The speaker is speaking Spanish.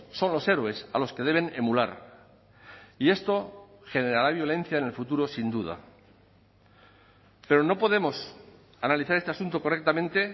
son los héroes a los que deben emular y esto generará violencia en el futuro sin duda pero no podemos analizar este asunto correctamente